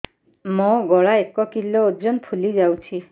ମୋ ଗଳା ଏକ କିଲୋ ଓଜନ ଫୁଲି ଯାଉଛି